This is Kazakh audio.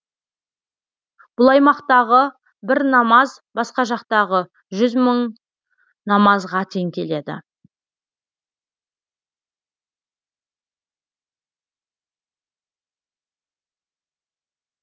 бұл аймақтағы бір намаз басқа жақтағы жүз мың намазға тең келеді